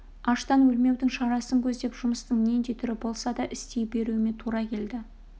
аштан өлмеудің шарасын көздеп жұмыстың нендей түрі болса да істей беруіме тура келді